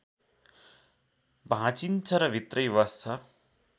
भाँचिन्छ र भित्रै बस्छ